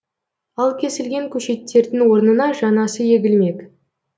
ал кесілген көшеттердің орнына жаңасы егілмек